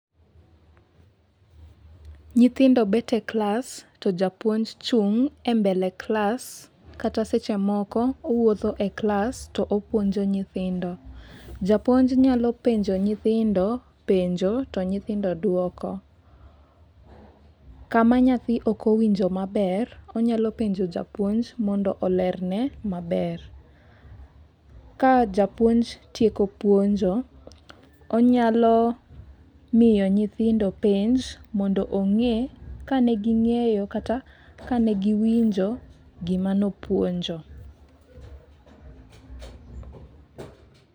Nyithindo bet e klas to japuonj chung' e mbele klas kata seche moko owuotho e klas to opuonjo nyithindo . Japuonj nyalo penjo nyithindo penjo to nyithindo duoko. Kama nyathi ok woinjo maber onyalo penjo japuonj mondo olerne maber. Ka japuonj tieko puonjo, onyalo miyo nyithindo penj mondo ong'e kane ging'eyo kata kane giwinjo gima nopuonjo